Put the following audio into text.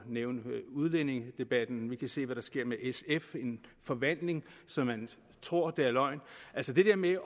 nævne udlændingedebatten vi kan se hvad der sker med sf en forvandling så man tror det er løgn altså det der med